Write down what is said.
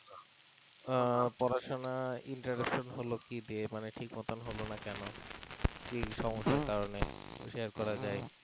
আহ পড়াশোনা interruption হলো কি দিয়ে মানে ঠিকমতো হলো না কেন কি সমস্যার কারণে শেয়ার করা যায়